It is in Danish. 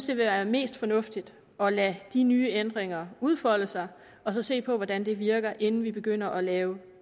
vil være mest fornuftigt at lade de nye ændringer udfolde sig og så se på hvordan det virker inden vi begynder at lave